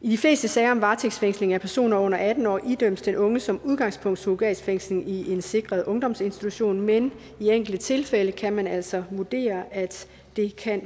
i de fleste sager om varetægtsfængsling af personer under atten år idømmes den unge som udgangspunkt surrogatfængsling i en sikret ungdomsinstitution men i enkelte tilfælde kan man altså vurdere at det kan